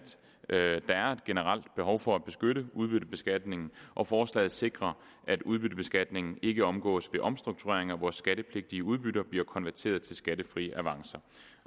generelt behov for at beskytte udbyttebeskatningen og forslaget sikrer at udbyttebeskatningen ikke omgås ved omstruktureringer hvor skattepligtige udbytter bliver konverteret til skattefri avancer